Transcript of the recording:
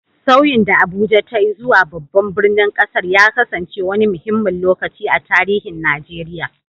Sauyin da Abuja ta yi zuwa babban birnin ƙasar ya kasance wani muhimmin lokaci a tarihin Najeriya.